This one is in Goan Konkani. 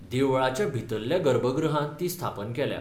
देवळाच्या भितरल्या गर्भगृहांत ती स्थापन केल्या.